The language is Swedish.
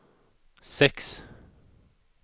sex